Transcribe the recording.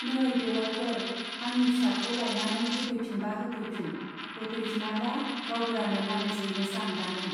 नै बेउवाइफोर, आंनि फिसाखौ लायनानै होफैफिनबा होफैफिन, होफैफिनाब्ला गावबुरानो नालिस हैनोसां दानो।